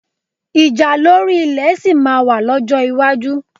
Ìjà lórí ilẹ̀ sì máa wà lọ́jọ́ iwájú